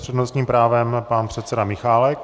S přednostním právem pan předseda Michálek.